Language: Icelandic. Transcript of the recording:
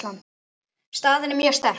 Staðan er mjög sterk.